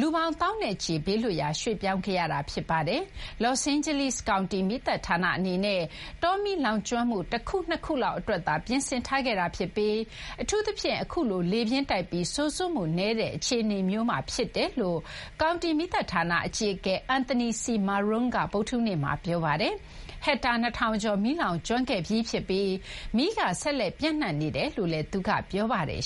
လူပေါင်း သောင်းနဲ့ချီပြီး ဘေးလွတ်ရာ ရွှေ့ပြောင်းခဲ့ရတာပါတယ်။ လောစ့်အိန်းဂျလိစ် ကောင်တီ မီးသတ်ဌာနအနေနဲ့ တောမီးလောင်ကျွမ်းမှု ၁ ခု - ၂ ခုလောက် အတွက်သာ ပြင်ဆင်ထားခဲ့တာဖြစ်ပြီး အထူးသဖြင့် အခုလို လေပြင်းတိုက်ပြီး စိုစွတ်မှုနည်းနဲ့ အခြေအနေမျိုးမှာ ဖြစ်တယ်လို့ ကောင်တီ မီးသတ်ဌာန အကြီးအကဲ အန်သနီ စီ မာရွန်းက ဗုဒ္ဓဟူးနေ့မှာ ပြောပါတယ်။ ဟက်တာ ၂ ထောင်ကျော် လောင်ကျွမ်းခဲ့တာဖြစ်ပြီး မီးက ဆက်လက် ပျံ့နှံ့နေတယ်လို့လည်း သူက ပြောပါတယ်